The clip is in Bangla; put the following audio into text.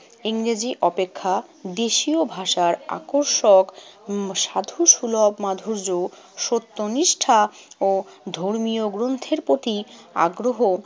ইংরেজি অপেক্ষা দেশীয় ভাষার আকর্ষক উম সাধুসুলভ মাধুর্য, সত্যনিষ্ঠা ও ধর্মীয় গ্রন্থের প্রতি আগ্রহ